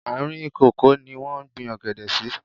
Àárìn kòkó ní wọ́n gbín ọ̀gẹ̀dẹ̀ sí.